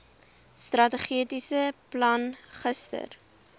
strategiese plan gister